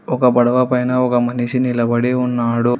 ఒక పడవ పైన ఒక మనిషి నిలబడి ఉన్నాడు.